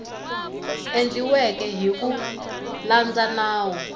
endliweke hi ku landza nawu